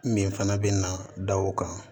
Min fana bɛ na da o kan